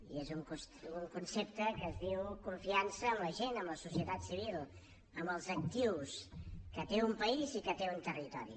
i és un concepte que es diu confiança en la gent en la societat civil en els actius que té un país i que té un territori